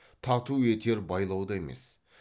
тату етер байлау да емес